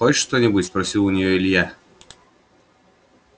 хочешь что-нибудь спросил у неё илья